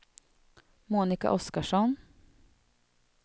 Monika Oskarsson